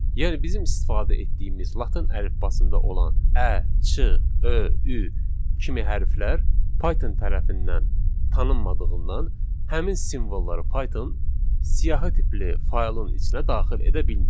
Yəni bizim istifadə etdiyimiz latın əlifbasında olan ə, ç, ö, ü kimi hərflər Python tərəfindən tanınmadığından, həmin simvolları Python siyahı tipli faylın içinə daxil edə bilmir.